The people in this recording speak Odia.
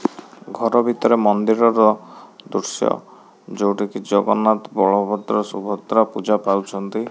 ଘର ଭିତରେ ମନ୍ଦିର ର ଦୃଶ୍ୟ ଯୋଉଟି କି ଜଗନ୍ନାଥ ବଳଭଦ୍ର ସୁଭଦ୍ରା ପୂଜା ପାଉଛନ୍ତି।